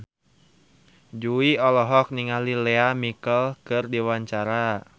Jui olohok ningali Lea Michele keur diwawancara